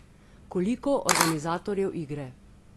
Koliko organizatorjev igre?